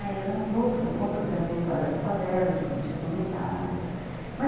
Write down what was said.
Aí ela voltou e contou para mim a história da favela, de como tinha começado e tal.